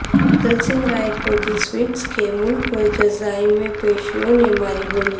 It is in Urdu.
دلسنگھ سرائے کوجی سویٹس کے مالک کو جرائم پیشوں نے ماری گولی